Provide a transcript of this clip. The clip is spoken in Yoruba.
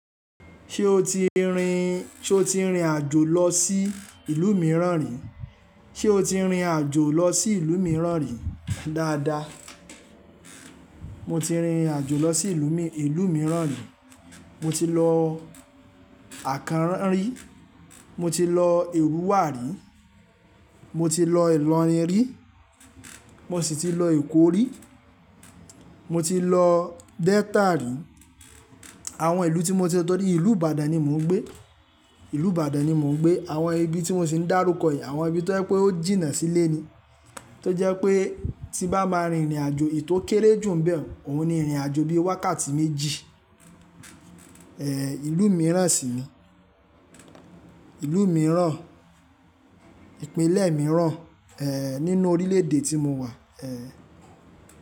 Ṣé o ti rin, ṣe o ti rin àjò lọ sí ìlú mìíràn rí? Ṣé o ti rin àjò lọ sí ìlú mìíràn rí? Dáadáa Mo ti rin àjò lọ sí ìlú mi, ìlú mìíràn rí. Mo ti lọ Àkánran rí, mo ti lọ Èrùwà rí, mo ti lọ Ìlọrin rí, mo sì ti lọ Èkó rí, mo ti lọ Delta rí. Àwọn ìlú tí mo ti lọ, torí ìlú Ìbàdàn ni mò ń gbé, ìlú Ìbàdàn ni mò ń gbé. Àwọn ibi tí mò sì n darúkọ yìí, àwọn ibi tó jẹ́ pé ó jìnnà sílẹ̀ ni. Tó jẹ́ pé tí bá máa rin ìrìn àjò ètò kéré jù bẹ́ẹ̀, òun ni ìrìn àjò bí i wákàtí méjì, ìlú mìíràn sì ní, ìlú mìíràn, ìpínlẹ̀ mìíràn, nínú orílẹ̀-èdè tí mo wà.